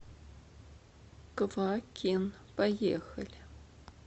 квакин поехали